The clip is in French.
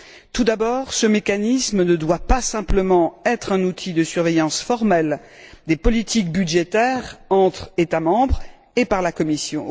Tout d'abord, ce mécanisme ne doit pas simplement être un outil de surveillance formelle des politiques budgétaires entre États membres et par la Commission.